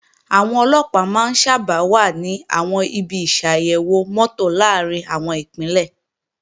Àwọn Ọlọ́pàá máa ń sábà wà ní àwọn ibi ìṣàyèwò mọ́tò làárín àwọn Ìpínlẹ̀